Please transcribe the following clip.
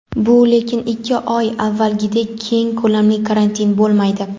bu lekin ikki oy avvalgidek keng ko‘lamli karantin bo‘lmaydi.